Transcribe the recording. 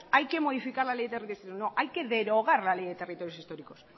hay que modificar la ley de territorios históricos no hay que derogar la ley de territorios históricos